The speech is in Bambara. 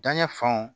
Danɲɛ fanw